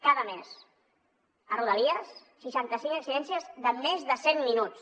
cada mes a rodalies seixanta cinc incidències de més de cent minuts